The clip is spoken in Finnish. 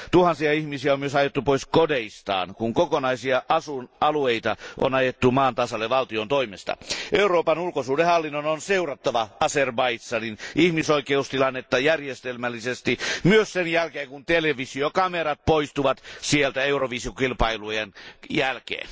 Tuhansia ihmisiä on myös ajettu pois kodeistaan, kun kokonaisia asuinalueita on ajettu maan tasalle valtion toimesta. Euroopan ulkosuhdehallinnon on seurattava Azerbaidžanin ihmisoikeustilannetta järjestelmällisesti, myös sen jälkeen kun televisiokamerat poistuvat sieltä Eurovision kilpailun päätyttyä.